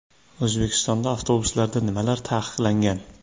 O‘zbekistonda avtobuslarda nimalar taqiqlangan?.